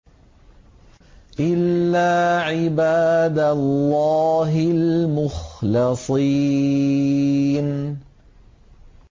إِلَّا عِبَادَ اللَّهِ الْمُخْلَصِينَ